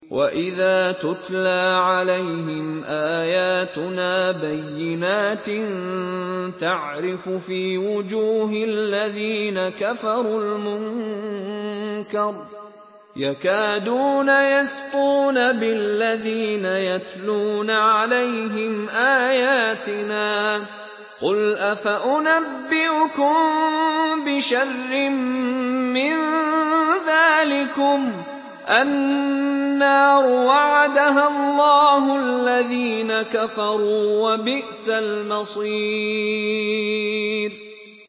وَإِذَا تُتْلَىٰ عَلَيْهِمْ آيَاتُنَا بَيِّنَاتٍ تَعْرِفُ فِي وُجُوهِ الَّذِينَ كَفَرُوا الْمُنكَرَ ۖ يَكَادُونَ يَسْطُونَ بِالَّذِينَ يَتْلُونَ عَلَيْهِمْ آيَاتِنَا ۗ قُلْ أَفَأُنَبِّئُكُم بِشَرٍّ مِّن ذَٰلِكُمُ ۗ النَّارُ وَعَدَهَا اللَّهُ الَّذِينَ كَفَرُوا ۖ وَبِئْسَ الْمَصِيرُ